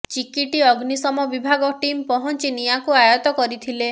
ଚିକିଟି ଅଗ୍ନିଶମ ବିଭାଗ ଟିମ୍ ପହଂଚି ନିଆଁକୁ ଆୟତ କରିଥିଲେ